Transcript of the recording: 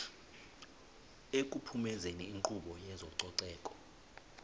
ekuphumezeni inkqubo yezococeko